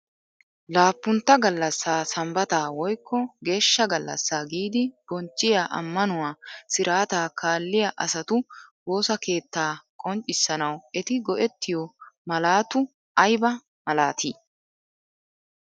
Laappuntta gallassa Sambbata woykkp geeshsja gallassa giid bonchchiyaa ammanauwa sirataa kaalliya asatu woossa keettaa qomccissanaw eti go"ettiyo malatau aybba malatii?